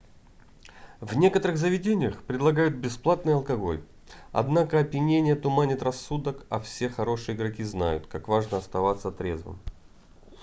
в некоторых заведениях предлагают бесплатный алкоголь однако опьянение туманит рассудок а все хорошие игроки знают как важно оставаться трезвым